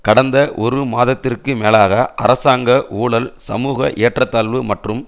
கடந்த ஒரு மாதத்திற்கு மேலாக அரசாங்க ஊழல் சமூக ஏற்றத்தாழ்வு மற்றும்